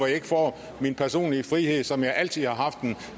ikke får min personlige frihed som jeg altid har haft den